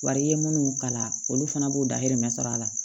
Wari ye minnu kalan olu fana b'u dahirimɛ sɔrɔ a la